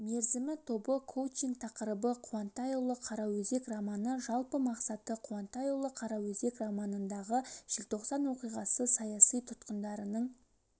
мерзімі тобы коучинг тақырыбы қуантайұлы қараөзек романы жалпы мақсаты қуантайұлы қараөзек романындағы желтоқсан оқиғасы саяси тұтқындарының